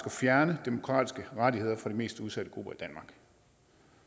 fjerne demokratiske rettigheder fra de mest udsatte grupper